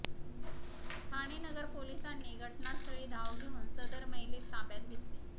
ठाणेनगर पोलिसांनी घटनास्थळी धाव घेऊन सदर महिलेस ताब्यात घेतले